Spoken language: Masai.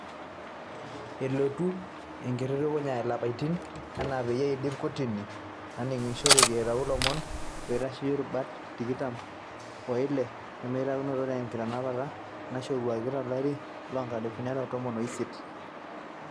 elotu enkitutukunya ilapaitin enaa peyie eidip kotini naningishoreki eitayu olomoni oitasheyia irubat tikitam o ile nemelakuanikino tenkitanapa naishoruaki to lari loonkalifuni are o tomon o isiet.